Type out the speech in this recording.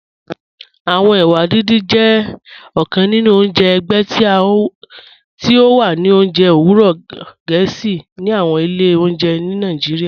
Awọn èwà dídìn jẹ ọ̀kàn nínu ọ̀njẹ ẹ̀gbẹ̀ tí o wà ní ọ̀njẹ̀ owurọ̀ Gẹẹsi ní àwọn ilẹ̀ ọ̀njẹ̀ ní Nàìjíríà.